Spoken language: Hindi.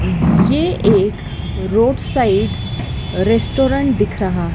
ये एक रोड साइड रेस्टोरेंट दिख रहा--